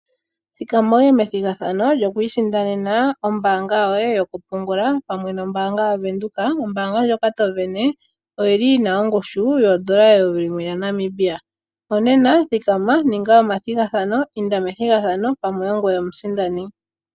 Thikama wuye methigathano lyokwiisindanena ombaanga yoye yokupungula, pamwe nombaanga yavenduka. Ombaanga ndyoka to sindana, oyili yina ongushu, yoondola eyovi limwe yaNamibia. Onena, thikama inda methigathano, pamwe ongoye omusindani.